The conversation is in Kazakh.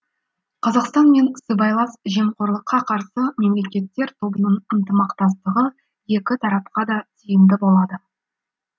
қазақстан мен сыбайлас жемқорлыққа қарсы мемлекеттер тобының ынтымақтастығы екі тарапқа да тиімді болады